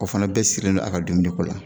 O fɛnɛ bɛɛ sirilen don a ka dumuniko la